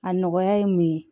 A nɔgɔya ye mun ye